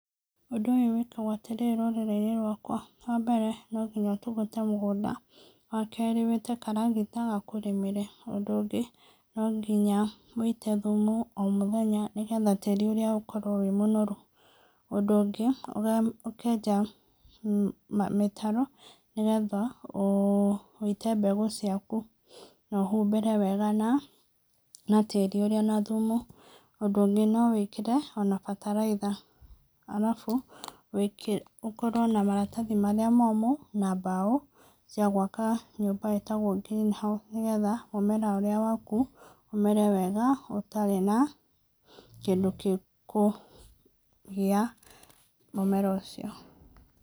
Ũndũ ũyũ wĩkagwo atĩrĩrĩ rũrĩrĩ-inĩ rwakwa, wa mbere no nginya ũtũgũte mũgũnda, wa kerĩ, wĩte karagita gakũrĩmĩre. Ũndũ ũngĩ, no nginya ũite thumu o mũthenya, nĩgetha tĩri ũrĩa ũkorwo wĩ mũnoru. Ũndũ ũngĩ, ũkenja mĩtaro, nĩgetha ũite mbegũ ciaku no ũhumbĩre wega na tĩri ũrĩa na thumu. Ũndũ ũngĩ, no wĩkĩre ona bataraitha, arabu wĩkĩre, ũkorwo na maratathi marĩa momũ na mbaũ cia gũaka nyũmba ĩtagwo green house, nĩgetha mũmera ũrĩa waku ũmere wega ũtarĩ na kĩndũ gĩkũgĩa mũmera ũcio.